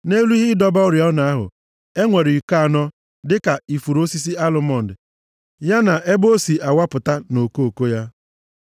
Nʼelu ihe ịdọba oriọna ahụ, enwere iko anọ dịka ifuru osisi alụmọnd, ya na ebe o si awapụta na okoko ya.